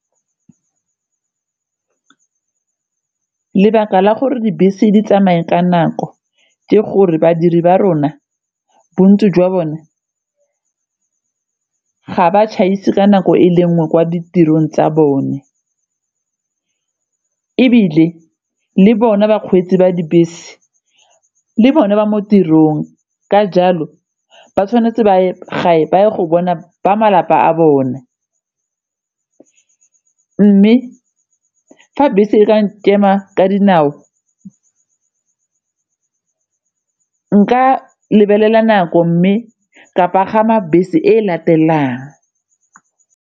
Lebaka la gore dibese di tsamaye ka nako ke gore badiri ba rona bontsi jwa bone ga ba tšhaise ka nako e le nngwe kwa ditirong tsa bone ebile le bona bakgweetsi ba dibese le bone ba mo tirong ka jalo ba tshwanetse ba je ga ba ye go bona ba malapa a bone mme fa bese e ka nkema ka dinao, nka lebelela nako mme ka pagama bese e latelang.